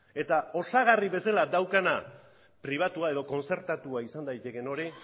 eta osagarri bezala daukana pribatua edo kontzertatua izan daitekeen hori